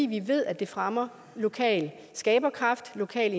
vi ved at det fremmer lokal skaberkraft lokal